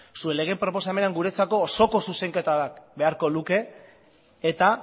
zuen lege proposamenean guretzako osoko zuzenketa bat beharko luke eta